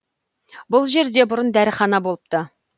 бұл жерде бұрын дәріхана болыпты